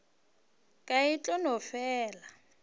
ka e tla no fela